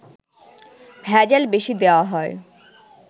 ভেজাল বেশি দেয়া হয়